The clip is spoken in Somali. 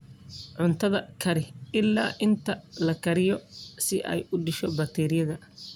Cuntada kari ilaa inta la kariyo si ay u disho bakteeriyada.